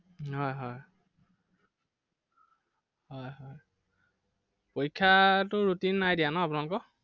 হয় হয় হয় হয় পৰীক্ষাৰ টো routine নাই দিয়া ন আপোনালোকৰ?